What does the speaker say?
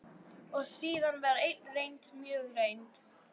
Og síðan var ein reynd, mjög reynd.